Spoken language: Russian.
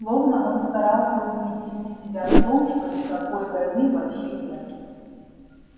словно он старался убедить себя в том что никакой войны вообще нет